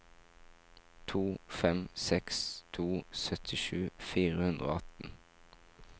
to fem seks to syttisju fire hundre og atten